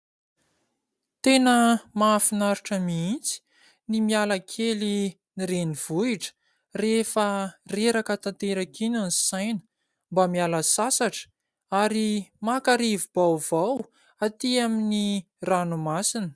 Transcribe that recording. Tena mahafinaritra mihitsy ny miala kely ny renivohitra, rehefa reraka tanteraka iny ny saina. Mba miala sasatra ary maka rivo-baovao, aty amin'ny ranomasina.